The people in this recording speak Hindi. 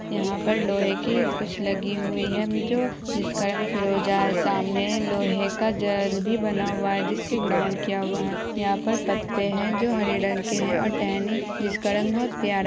यहाँ पर लोहे की खुच लगी हुयी है जो जिस कारन फिरोजा है सामने लोहे का जाल भी बना हुवा है जिस से ग्राउंड किया गया है यहाँ पर पते है जो हरे रंग के है और टहनी जिस-का रंग बहुत प्या--